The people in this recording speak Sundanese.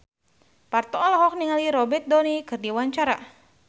Parto olohok ningali Robert Downey keur diwawancara